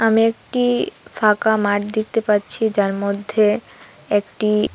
আমি একটি ফাঁকা মাঠ দেখতে পাচ্ছি যার মধ্যে একটি--